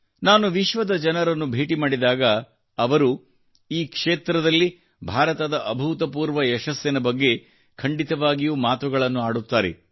ನಾನು ವಿಶ್ವದ ಜನರನ್ನು ಭೇಟಿ ಮಾಡಿದಾಗ ಅವರು ಈ ಕ್ಷೇತ್ರದಲ್ಲಿ ಭಾರತದ ಅಭೂತಪೂರ್ವ ಯಶಸ್ಸಿನ ಬಗ್ಗೆ ಖಂಡಿತವಾಗಿಯೂ ಮಾತುಗಳನ್ನು ಆಡುತ್ತಾರೆ